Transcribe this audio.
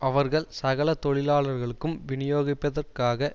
அவர்கள் சகல தொழிலாளர்களுக்கும் விநியோகிப்பதற்காக